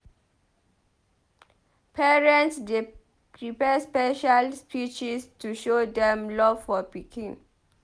Parents dey prepare special speeches to show dem love for pikin.